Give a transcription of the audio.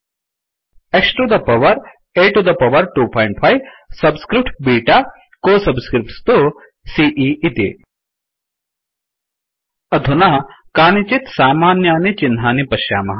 X to the power A to the power 25 subscripts beta को subscripts तु सीई इति अधुना कानिचित् सामान्यानि चिह्नानि पश्यामः